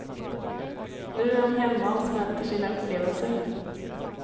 Nu är hon hemma och smälter sina upplevelser.